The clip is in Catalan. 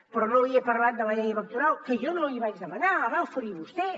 però no li he parlat de la llei electoral que jo no l’hi vaig demanar la va oferir vostè